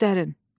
Göstərin.